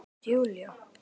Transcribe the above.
Hélt Júlía.